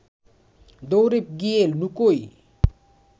দৌড়ে গিয়ে লুকোই